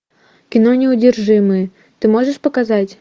кино неудержимые ты можешь показать